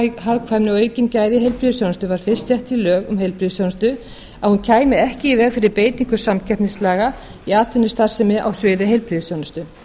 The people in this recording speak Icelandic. hagkvæmni og aukin gæði í heilbrigðisþjónustu var fyrst sett í lög um heilbrigðisþjónustu að hún kæmi ekki í veg fyrir beitingu samkeppnislaga í atvinnustarfsemi á sviði heilbrigðisþjónustu